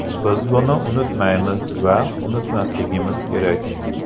Biz buni unutmaymiz va unutmasligimiz kerak.